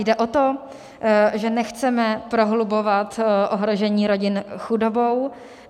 Jde o to, že nechceme prohlubovat ohrožení rodin chudobou.